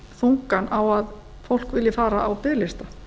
þungann á að fólk vilji fara á biðlista